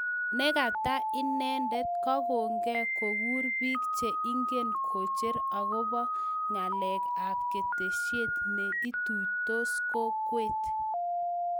Negata inendet, kogongee kogur piik che ingen kocher agoba ngaleg ab ketesiet ne ituitos kokwet